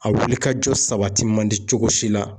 A wulikajɔ sabati man di cogo si la